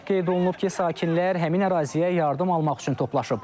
Qeyd olunub ki, sakinlər həmin əraziyə yardım almaq üçün toplaşıb.